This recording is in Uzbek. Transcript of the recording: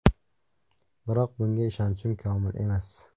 Biroq bunga ishonchim komil emas.